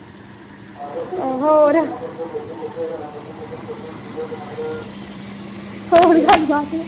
ਹੋਰ ਗੱਲ ਬਾਤ।